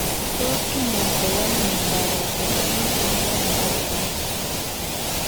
Tos kinyaita ano miondap Autosomal dominant inheritance?